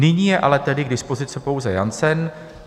Nyní je ale tedy k dispozici pouze Janssen.